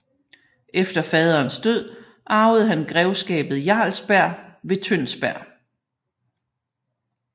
Efter faderens død arvede han grevskabet Jarlsberg ved Tønsberg